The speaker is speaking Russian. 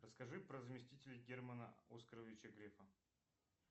расскажи про заместителей германа оскаровича грефа